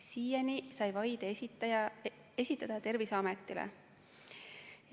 Siiani sai vaide esitada Terviseametile.